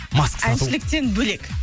маска сату әншіліктен бөлек